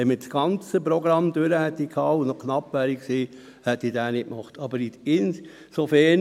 Wenn wir das ganze Programm durchgehabt hätten und noch knapp an Zeit gewesen wären, hätte ich diesen Antrag nicht gestellt.